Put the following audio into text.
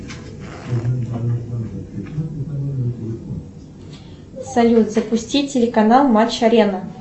салют запусти телеканал матч арена